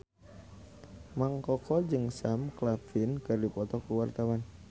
Mang Koko jeung Sam Claflin keur dipoto ku wartawan